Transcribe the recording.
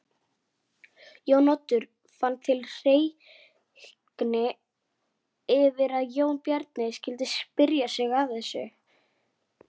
Það sést ekki ennþá.